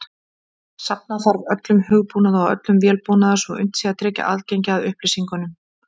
Safna þarf öllum hugbúnaði og öllum vélbúnaði svo unnt sé að tryggja aðgengi að upplýsingunum.